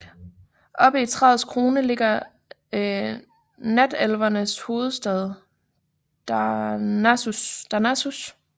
Oppe i træets krone ligger natelevernes hovedstad Darnassus